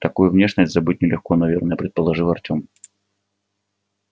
такую внешность забыть нелегко наверное предположил артём